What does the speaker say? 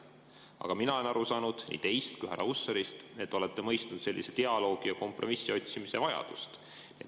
Aga mina olen aru saanud nii teist kui ka härra Hussarist, et te olete mõistnud dialoogi ja kompromissi otsimise vajadust.